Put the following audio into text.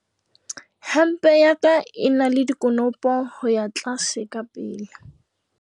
Hempe ya ka e na le dikonopo ho ya tlase ka pele.